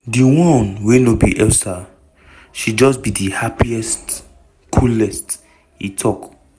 "di one wey no be elsa she just be di happiest coolest" e tok.